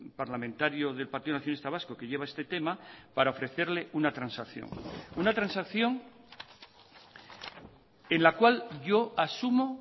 parlamentario del partido nacionalista vasco que lleva este tema para ofrecerle una transacción una transacción en la cual yo asumo